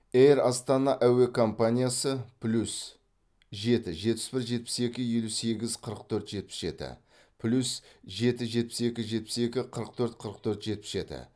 эйр астана әуе компаниясы плюс жеті жетпіс бір жетпіс екі елу сегіз қырық төрт жетпіс жеті плюс жеті жетпіс екі жетпіс екі қырық төрт қырық төрт жетпіс жеті